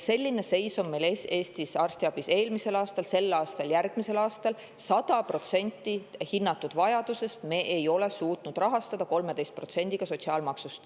Selline seis oli meil Eesti arstiabis eelmisel aastal, on sel aastal ja on järgmisel aastal: 100% hinnatud vajadusest ei ole me suutnud rahastada 13%-ga sotsiaalmaksust.